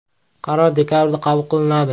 Qaror dekabrda qabul qilinadi.